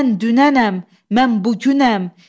Mən dünənəm, mən bugünəm.